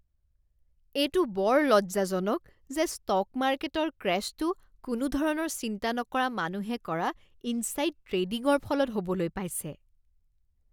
এইটো বৰ লজ্জাজনক যে ষ্টক মাৰ্কেটৰ ক্ৰেশ্বটো কোনো ধৰণৰ চিন্তা নকৰা মানুহে কৰা ইনছাইড ট্ৰেডিঙৰ ফলত হ'বলৈ পাইছে।